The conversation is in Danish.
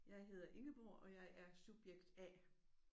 Jeg hedder Ingeborg og jeg er subjekt A